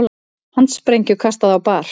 Handsprengju kastað á bar